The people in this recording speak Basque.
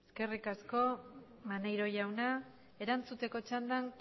eskerrik asko maneiro jauna erantzuteko txandan